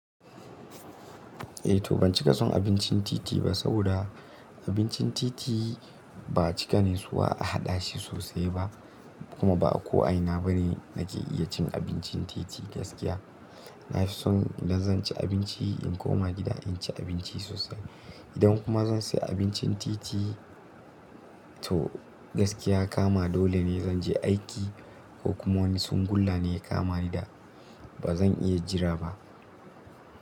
Eh to ban cika son abincin titi ba, saboda abincin titi ba a cika natsuwa a haɗa shi sosai ba. Kuma ba ko a ina bane nake iya cin abincin titi gaskiya. Na fi son idan zan ci abinci in koma gida in ci abinci sosai. Idan kuma zan sai abincin titi to gaskiya kama dole ne zan je aiki ko kuma wani tsungulla ne ya kama ni da ba zan iya jira ba.